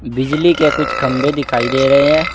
बिजली के कुछ खम्भे दिखाई दे रहे हैं।